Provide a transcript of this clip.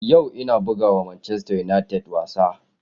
Yau ina buga wa Manchester United wasa.